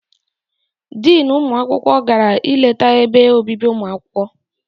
Diinu ụmụ akwụkwọ gara I leta ebe obibi ụmụ akwụkwọ.